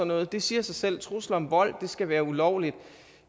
noget det siger sig selv trusler om vold skal være ulovlige